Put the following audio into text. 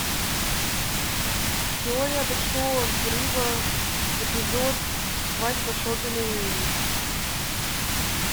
теория большого взрыва эпизод свадьба шелдона и эмми